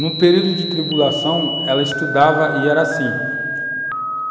Num período de tribulação, ela estudava e era assim.